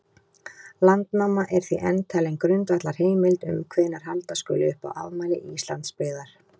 Landnáma er því enn talin grundvallarheimild um hvenær halda skuli upp á afmæli Íslandsbyggðar.